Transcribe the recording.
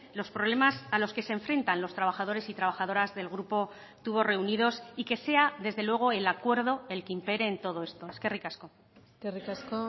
los problemas a los que se enfrentan los trabajadores y trabajadoras del grupo tubos reunidos y que sea desde luego el acuerdo el que impere en todo esto eskerrik asko eskerrik asko